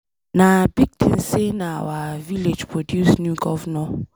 Na big thing say na our village produce new governor